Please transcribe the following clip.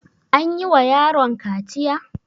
Anyi wa yaron kaciya?